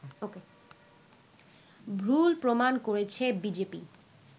ভুল প্রমাণ করেছে বিজেপি